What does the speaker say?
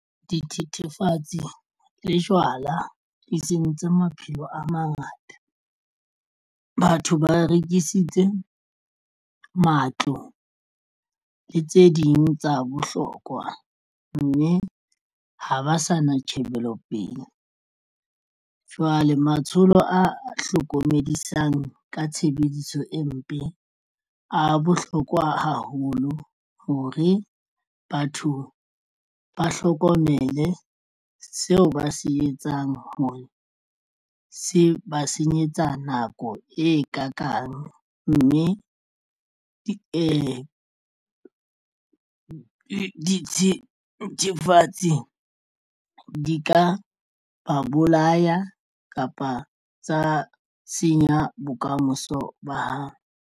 Dithethefatsi le jwala di sentse maphelo a mangata. Batho ba rekisitse matlo le tse ding tsa bohlokwa mme ha ba sa na tjhebelo pele. Jwale matsholo a hlokomedisang ka tshebediso empe a bohlokwa haholo hore batho ba hlokomele seo ba se etsang hore se ba senyetsa nako e ka kang mme dithethefatsi di ka ba bolaya kapa tsa senya bokamoso ba hao.